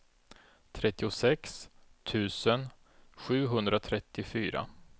trettiosex tusen sjuhundratrettiofyra